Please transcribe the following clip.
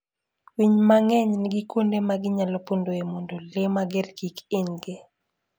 Winy mang'eny nigi kuonde ma ginyalo pondoe mondo le mager kik hinygi.